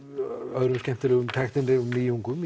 öðrum skemmtilegum tækninýjungum